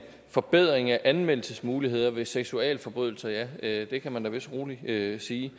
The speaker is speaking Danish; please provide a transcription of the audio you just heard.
forbedring af anmeldelsesmuligheder ved seksualforbrydelser at ja det kan man da vist roligt sige